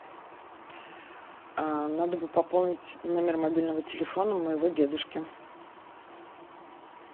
надо бы пополнить номер мобильного телефона моего дедушки